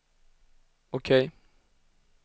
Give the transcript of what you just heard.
OK